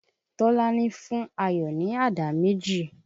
Tọ́lání fún Àyọ̀ ní àdá méjì